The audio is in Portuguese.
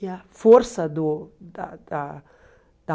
E a força do da da da